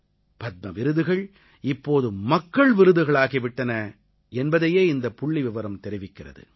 பத்ம விருதுகள் இப்போது மக்கள் விருதுகளாகி விட்டன என்பதையே இந்தப் புள்ளிவிவரம் தெரிவிக்கிறது